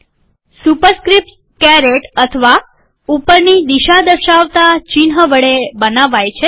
superscripts caret અથવા ઉપરની દિશા દર્શાવતા ચિહ્ન વડે બનાવાય છે